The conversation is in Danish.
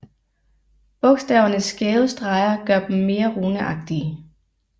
Bogstavernes skæve streger gør dem mere runeagtige